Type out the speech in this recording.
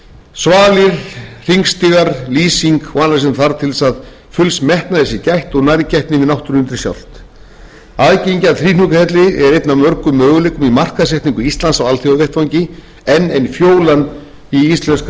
svalir hringstigar lýsing og annað sem þarf til þess að fulls metnaðar sé gætt og nærgætni við náttúruundrið sjálft aðgengi að þríhnjúkahelli er einn af mörgum möguleikum í markaðssetningu íslands á alþjóðavettvangi enn ein fjólan í íslenska náttúruvöndinn það er engin